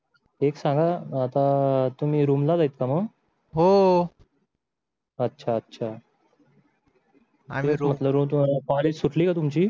एक सांगा आता तुम्ही रूमला आहेत का मग अच्छा अच्छा आणि कॉलेज सुटली का तुमची